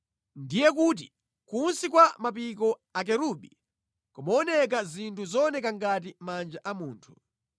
Ndiye kuti kunsi kwa mapiko akerubi kumaoneka zinthu zooneka ngati manja a munthu.